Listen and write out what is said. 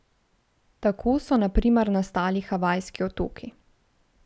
Tako so na primer nastali Havajski otoki.